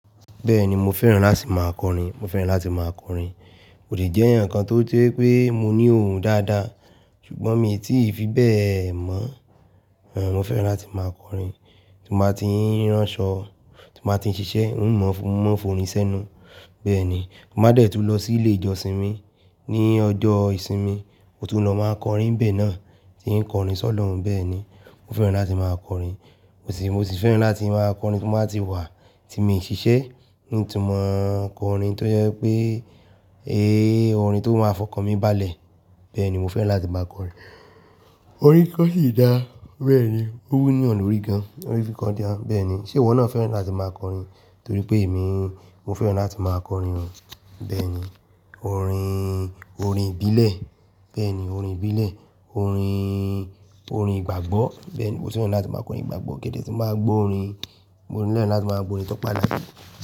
Bẹ́ẹ̀ni mo fẹ́ràn láti máa kọrin, mo fẹ́ràn láti máa kọrin. Mo dè jẹ́ eyan kan tó je wipé mo ní ohùn dáadáa, ṣùgbọ́n mi ò tí fi bẹ́ẹ̀ mọ̀. Ẹ̀n, mo fẹ́ràn láti máa kọrin. Tí mo bá ti ń ránṣọ, tí mo bá ti ń ṣiṣẹ́, n ò mọ̀, mó ń forín sẹ́nu. Bẹ́ẹ̀ ni, mo máa dẹ̀ tún lọ sí ilé ìjọsìn mi ní ọjọ́ ìsinmi, mo tún lọ máa n kọrin n bẹ́ẹ̀ náà, tí ń kọrin sọ̀lọ̀run bẹ́ẹ̀ ni. Mo fẹ́ràn láti máa kọrin, mo sì fẹ́ràn láti máa kọrin tí mo bá ti wà tí mi ò ṣiṣẹ́, n tun mo kọrin tó jẹ́ pé, eh, orin tó máa fọkàn mi bálẹ̀, bẹ́ẹ̀ ni mo fẹ́ràn láti máa kọrin. Orin kikọ́ sì dáa, bẹ́ẹ̀ ni, ó wú yan lọ́rí gan. Orin kiko da, bẹ́ẹ̀ ni. Ṣe ìwọ náà fẹ́ràn láti máa kọrin? Nitoripe emi, mo fẹ́ràn láti máa kọrin. Bẹ́ẹ̀ ni, orin, orin ìbílẹ̀, bẹ́ẹ̀ ni orin ìbílẹ̀, orin, orin ìgbàgbọ́, bẹ́ẹ̀ ni. Mo sì fẹ́ràn láti máa kọrin ìgbàgbọ́ gẹ́gẹ́ bí mo bá ń gbọ́ orin. Mo nílò láti máa bo n tó paná.